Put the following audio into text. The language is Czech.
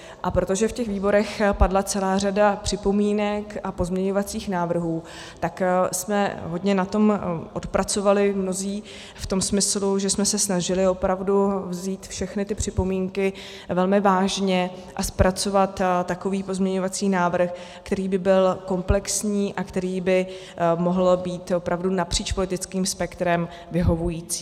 A protože v těch výborech padla celá řada připomínek a pozměňovacích návrhů, tak jsme hodně na tom odpracovali mnozí v tom smyslu, že jsme se snažili opravdu vzít všechny ty připomínky velmi vážně a zpracovat takový pozměňovací návrh, který by byl komplexní a který by mohl být opravdu napříč politickým spektrem vyhovující.